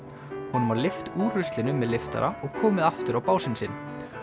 honum var lyft úr ruslinu með lyftara og komið aftur á básinn sinn